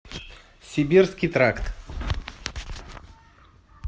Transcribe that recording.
сибирский тракт